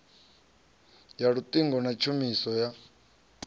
ya luṱingo na tshumiso ya